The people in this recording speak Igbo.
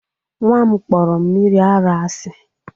Nwa m kpọrọ mmiri ara asị